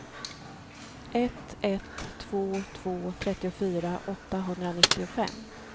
ett ett två två trettiofyra åttahundranittiofem